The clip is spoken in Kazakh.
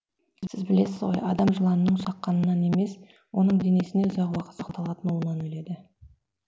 сіз білесіз ғой адам жыланның шаққанынан емес оның денесінде ұзақ уақыт сақталатын уынан өледі